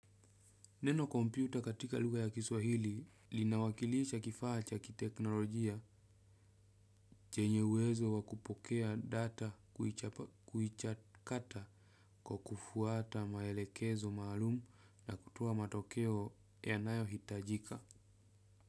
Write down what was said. Neno kompyuta katika lugha ya kiswahili linawakilisha kifaa cha kiteknolojia chenye uwezo wa kupokea data kuichakata kwa kufuata maelekezo maalum na kutoa matokeo yanayohitajika.